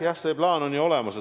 Jah, see plaan on ju olemas.